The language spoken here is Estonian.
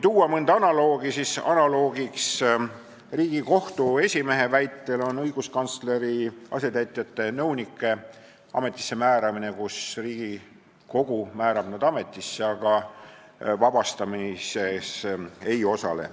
Analoogne näide on Riigikohtu esimehe väitel õiguskantsleri asetäitjate-nõunike ametisse määramine, keda Riigikogu määrab ametisse, aga kelle töölt vabastamises Riigikogu ei osale.